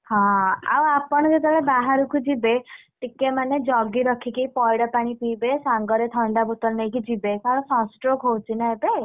ହଁ ଆଉ ଆପଣ ଯେତବେଳେ ବାହାର କୁ ଯିବେ, ଟିକେ ମାନେ ଜଗି ରଖିକି ପଇଡ ପାଣି ପିଇବେ ସାଙ୍ଗରେ ଥଣ୍ଡା ବୋତଲନେଇକି ଯିବେ କାରଣ sunstroke ହଉଛି ନାଁ ଏବେ,